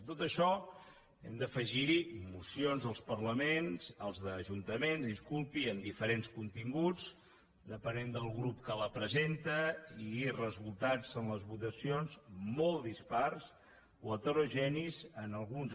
a tot això hem d’afegir hi mocions als ajuntaments amb diferents continguts depenent del grup que la presenta i resultats en les votacions molt dispars o heterogenis en alguns